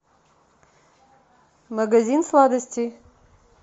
магазин сладостей